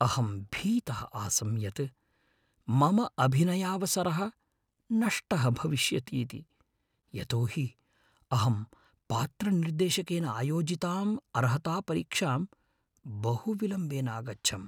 अहं भीतः आसम् यत् मम अभिनयावसरः नष्टः भविष्यति इति, यतो हि अहं पात्रनिर्देशकेन आयोजिताम् अर्हतापरिक्षां बहुविलम्बेन अगच्छम्।